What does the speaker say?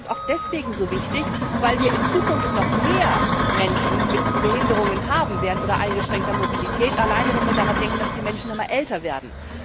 Ich glaube, das ist auch deswegen so wichtig, weil wir in Zukunft noch mehr Menschen mit Behinderungen oder eingeschränkter Mobilität haben werden, alleine wenn wir daran denken, dass die Menschen immer älter werden.